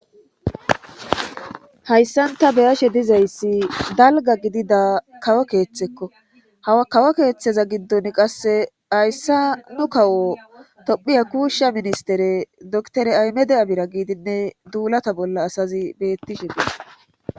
hayssanta be'ashe dizayssi dalga gidida kawo keeththekko ha kawo keeththeza giddon qasse hayssa nu kawo tophiya kuushsha ministere doktore aymede abira giidinne duulata bolla asazi beettishe des